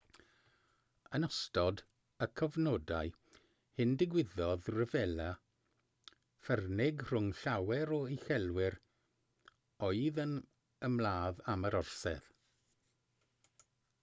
yn ystod y cyfnodau hyn digwyddodd rhyfela ffyrnig rhwng llawer o uchelwyr oedd yn ymladd am yr orsedd